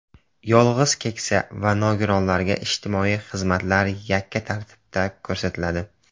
Yolg‘iz keksa va nogironlarga ijtimoiy xizmatlar yakka tartibda ko‘rsatiladi.